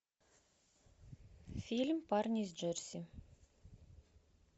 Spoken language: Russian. фильм парни из джерси